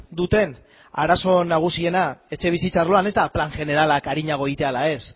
duten arazo nagusiena etxebizitza arloan ez da plan jeneralak arinago egitea ala